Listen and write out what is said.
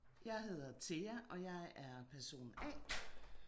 Jeg hedder Thea og jeg er person A